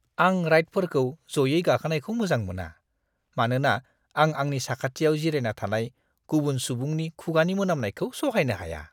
आं राइडफोरखौ जयै गाखोनायखौ मोजां मोना, मानोना आं आंनि साखाथियाव जिरायना थानाय गुबुन सुबुंनि खुगायनि मोनामनायखौ सहायनो हाया।